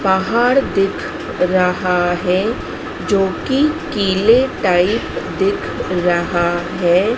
पहाड़ दिख रहा है जो कि किले टाइप दिख रहा है।